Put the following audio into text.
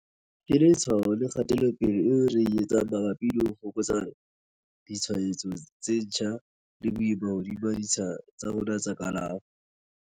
Ke letshwao la kgatelopele eo re e etsang mabapi le ho fokotsa ditshwaetso tse ntjha le boima hodima ditsha tsa rona tsa kalafo.